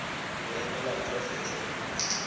ho emela tsohle tse mpe